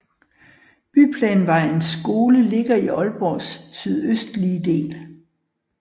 Byplanvejens skole ligger i Aalborgs sydøstlige del